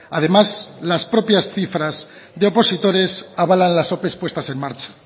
además las propias cifras de opositores avalan las ope puestas en marcha